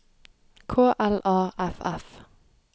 K L A F F